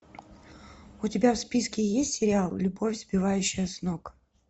у тебя в списке есть сериал любовь сбивающая с ног